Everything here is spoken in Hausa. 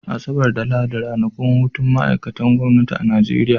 Asabar da Lahadi ranakun hutun ma'aikatan gwamnati ne a Nigeria.